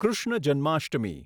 Krishna Janmashtami